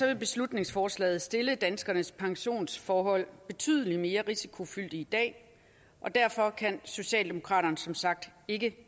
vil beslutningsforslaget stille danskernes pensionsforhold betydelig mere risikofyldt i dag og derfor kan socialdemokraterne som sagt ikke